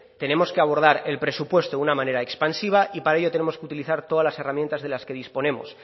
tenemos que abordar el presupuesto una manera expansiva y para ello tenemos utilizar todas las herramientas de las que disponemos